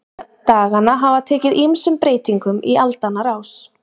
Nöfn daganna hafa tekið ýmsum breytingum í aldanna rás.